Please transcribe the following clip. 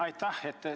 Aitäh!